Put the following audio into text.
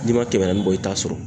N'i man kɛmɛ naani bɔ i t'a sɔrɔ.